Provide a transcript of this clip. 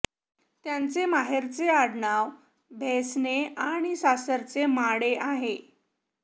त्यांचे माहेरचे आडनाव भैसने आणि सासरचे माडे आहे